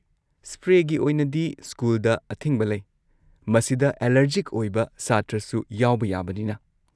ꯁ꯭ꯄ꯭ꯔꯦꯒꯤ ꯑꯣꯏꯅꯗꯤ ꯁ꯭ꯀꯨꯜꯗ ꯑꯊꯤꯡꯕ ꯂꯩ, ꯃꯁꯤꯗ ꯑꯦꯂꯔꯖꯤꯛ ꯑꯣꯏꯕ ꯁꯥꯇ꯭ꯔꯁꯨ ꯌꯥꯎꯕ ꯌꯥꯕꯅꯤꯅ꯫